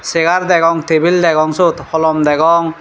chegar degong tabil degong siot holom degong.